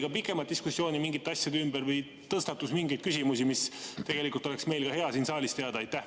Kas oli pikemat diskussiooni mingite asjade ümber või tõstatus mingeid küsimusi, mida tegelikult oleks meil hea ka siin saalis teada?